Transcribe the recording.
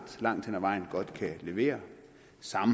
langt hen ad vejen godt kan levere